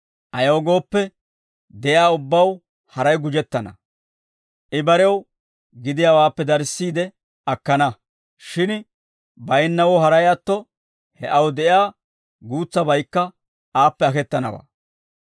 Ayaw gooppe, de'iyaa ubbaw haray gujettana; I barew gidiyaawaappe darissiide akkana; shin baynnawoo haray atto, he aw de'iyaa guutsaykka aappe aketanawaa.